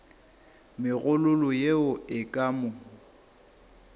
megololo yeo e ka mo